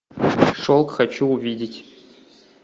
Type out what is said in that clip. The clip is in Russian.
шелк хочу увидеть